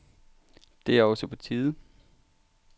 Det er også på tide.